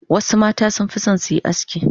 Wasu mata sun fi son su yi aski.